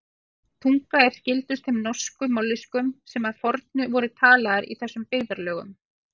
Íslensk tunga er skyldust þeim norsku mállýskum sem að fornu voru talaðar í þessum byggðarlögum.